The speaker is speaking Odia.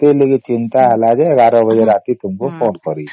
ସେଇ ବୋଲେ ଚିନ୍ତା ହେଲା ଯେ ୧୧ ବାଜେ ରାତିକୁ ତମକୁ ଫୋନ କରିସେ